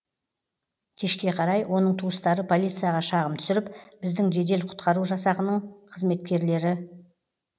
кешке қарай оның туыстары полицияға шағым түсіріп біздің жедел құтқару жасағының қызметкерлері